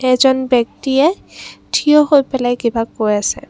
এজন ব্যক্তিয়ে থিয় হৈ পেলাই কিবা কৈ আছে।